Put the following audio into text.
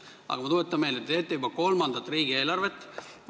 Aga ma tuletan meelde, et te teete juba kolmandat riigieelarvet.